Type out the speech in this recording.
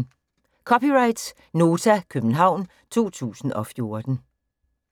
(c) Nota, København 2014